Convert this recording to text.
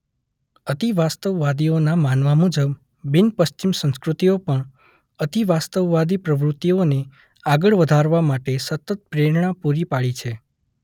અતિવાસ્તવવાદીના માનવા મુજબ બિન પશ્ચિમ સંસ્કૃતિઓ પણ અતિવાસ્તવવાદી પ્રવૃતિઓને આગળ વધારવા માટે સતત પ્રેરણા પૂરી પાડી છે.